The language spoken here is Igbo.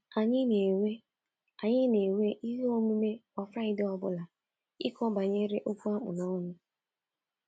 “Anyị na-enwe “Anyị na-enwe ihe omume kwa Fraịdee ọbụla, ịkọ banyere okwu a kpụ n’ọnụ.